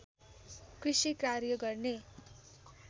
कृषि कार्य गर्ने